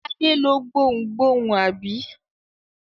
Adé lọ gbohùngbohùn, àbí?